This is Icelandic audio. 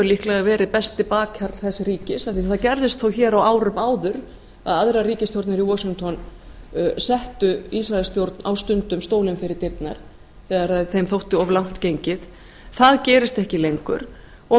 líklega verið besti bakhjarl þess ríkis af því að það gerðist þó hér á árum áður að aðrar ríkisstjórnir í washington settu ísraelsstjórn á stundum stólinn fyrir dyrnar þegar þeim þótti of langt gengið það gerist ekki lengur og